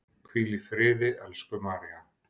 Hvíl í friði, elsku María.